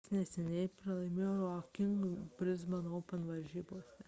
jis neseniai pralaimėjo raonikui brisbano open varžybose